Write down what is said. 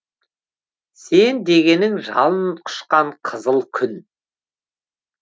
сен дегенің жалын құшқан қызыл күн